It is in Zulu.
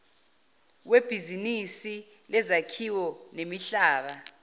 webhizinisi lezakhiwo nemihlaba